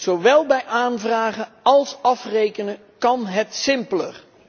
Zowel bij aanvragen als afrekenen kan het simpeler.